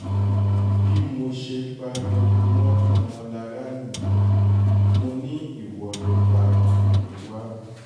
bí mo ṣe pariwo mọ́ ọmọlára nìyẹn mọ́ ni ìwọ ló pa tomiwa